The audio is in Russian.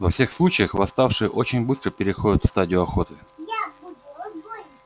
во всех случаях восставшие очень быстро переходят в стадию охоты